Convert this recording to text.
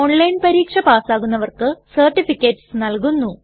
online പരീക്ഷ pass ആകുന്നവർക്ക് certificates നല്കുന്നു